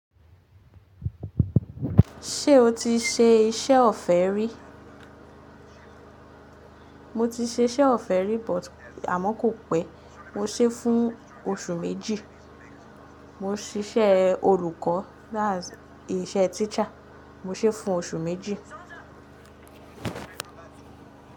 Ṣé o ti ṣe iṣẹ́ ọ̀fẹ́ rí? Mo ti ṣe iṣẹ́ ọ̀fẹ́ rí but àmọ́ kò pẹ́. Mo ṣe é fún oṣù méjì. Mo ń siṣẹ́ olùkọ́ that's iṣẹ́ teacher. Mo ṣe fún oṣù méjì.